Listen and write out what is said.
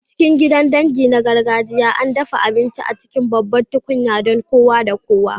A cikin gidan dangi na gargajiya, ana dafa abinci a cikin babban tukunya don kowa da kowa.